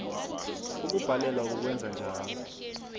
ukubhalelwa kukwenza njalo